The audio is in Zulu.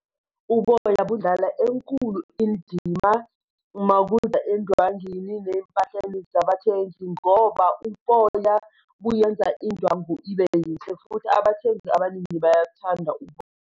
Uboya budlala enkulu indima uma kuza endwangini ney'mpahleni zabathengi, ngoba uboya buyenza indwangu ibe yinhle futhi abathengi abaningi bayakuthanda .